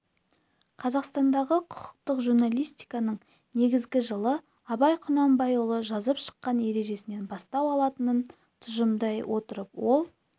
қазақстандағы құқықты журналистиканың негізі жылы абай құнанбайұлы жазып шыққан ережесінен бастау алатынын тұжырымдай отырып ол